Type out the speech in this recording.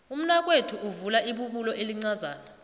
umnakwethu uvule ibubulo elincazana